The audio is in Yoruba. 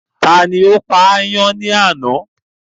Tani ó pa ayán ní àná?